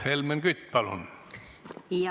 Helmen Kütt, palun!